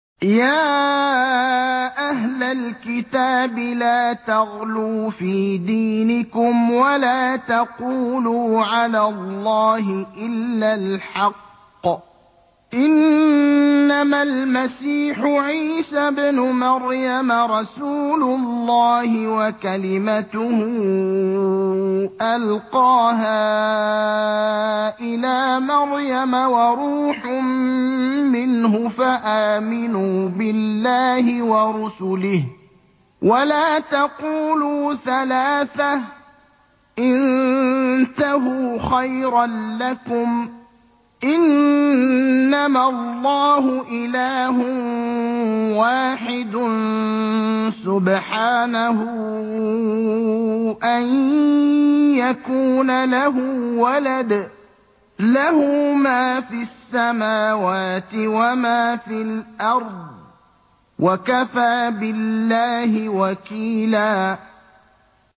يَا أَهْلَ الْكِتَابِ لَا تَغْلُوا فِي دِينِكُمْ وَلَا تَقُولُوا عَلَى اللَّهِ إِلَّا الْحَقَّ ۚ إِنَّمَا الْمَسِيحُ عِيسَى ابْنُ مَرْيَمَ رَسُولُ اللَّهِ وَكَلِمَتُهُ أَلْقَاهَا إِلَىٰ مَرْيَمَ وَرُوحٌ مِّنْهُ ۖ فَآمِنُوا بِاللَّهِ وَرُسُلِهِ ۖ وَلَا تَقُولُوا ثَلَاثَةٌ ۚ انتَهُوا خَيْرًا لَّكُمْ ۚ إِنَّمَا اللَّهُ إِلَٰهٌ وَاحِدٌ ۖ سُبْحَانَهُ أَن يَكُونَ لَهُ وَلَدٌ ۘ لَّهُ مَا فِي السَّمَاوَاتِ وَمَا فِي الْأَرْضِ ۗ وَكَفَىٰ بِاللَّهِ وَكِيلًا